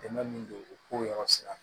Dɛmɛ min don u k'o yɔrɔ sira